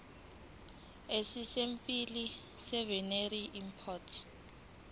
esipesimeni seveterinary import